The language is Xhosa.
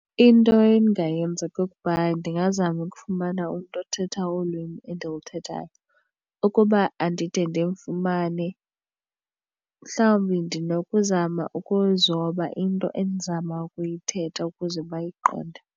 Into endingayenza kukuba ndingazama ukufumana umntu othetha olwimi endiluthethayo. Ukuba andide ndimfumanele mhlawumbi ndinokuzama ukuzoba into endizama ukuyithetha ukuze bayiqonde.